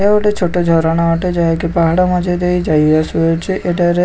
ଏହା ଗୋଟେ ଛୋଟ ଝରଣା ଅଟେ ଯାହାକି ପାହାଡ଼ ମଝି ଦେଇ ଯାଇ ଆସୁ ଅଛି ଏଟାରେ --